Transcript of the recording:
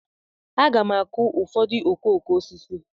Aga m akụ ụfọdụ okooko osisi.